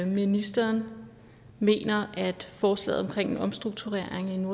ministeren mener at forslaget om en omstrukturering